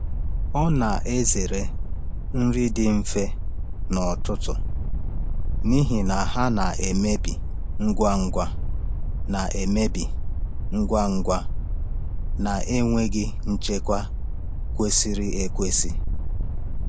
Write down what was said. Ọ na-ezere nri dị mfe n’ọtụtù n’ihi na ha na-emebi ngwa ngwa na-emebi ngwa ngwa na-enweghị nchekwa kwesịrị ekwesị.